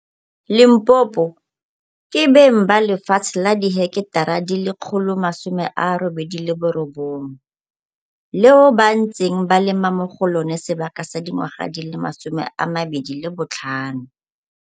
Limpopo, ke beng ba lefatshe la diheketara di le 189, leo ba ntseng ba lema mo go lona sebaka sa dingwaga di le 25.